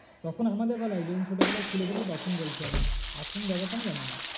তখন আমাদের বেলায় যখন ছোটোবেলায় খুলেছিলাম তখন বলছি আমি। এখন ব্যাপারটা আমি জানি না।